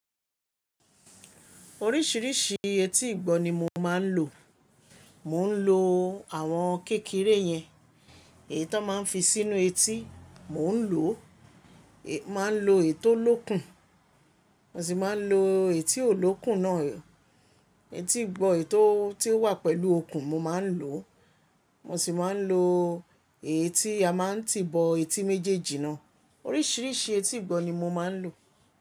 Oríṣìíríṣìí eti ìgbọ́ ni mo máa ń lò. Mò ń lò àwọn kékeré yẹn, èyí tó máa ń fi sínú eti, mò ń lò, màá ń lò ètó lókun, mo sì máa ń lò ètí ò lókun náà, ètí ìgbọ́ ètó tí ó wà pẹ̀lú okùn mo máa ń lò, mo sì máa ń lò ètí a máa ń tí ìbọ eti méjèèjì náà. Oríṣìíríṣìí eti ìgbọ́ ni mo máa ń lò.